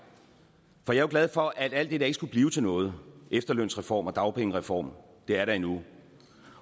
for jeg er jo glad for at alt det der ikke skulle blive til noget efterlønsreform og dagpengereform er der endnu